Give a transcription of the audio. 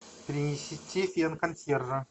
принесите консьержа